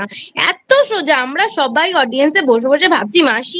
এত সোজা আমরা সবাই Audience এ বসে বসে ভাবছি মাসি